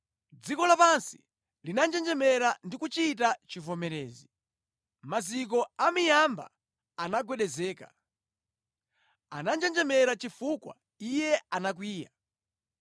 “Dziko lapansi linanjenjemera ndi kuchita chivomerezi, maziko a miyamba anagwedezeka; ananjenjemera chifukwa Iye anakwiya.